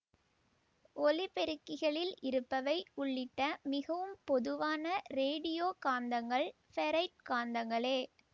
ஒலிபெருக்கிகளில் இருப்பவை உள்ளிட்ட மிகவும் பொதுவான ரேடியோ காந்தங்கள் ஃபெரைட் காந்தங்களே